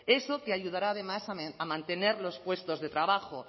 eso que ayudará además a mantener los puestos de trabajo